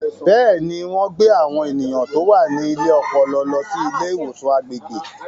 Bẹ́ẹ̀ni, wọ́n gbé àwọn ènìyàn tó wà ní ilé ọpọlọ lọ sí ilé ìwòsàn agbègbè.